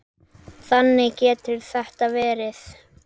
Þannig getur þetta verið.